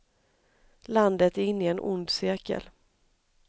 Landet är inne i en ond cirkel.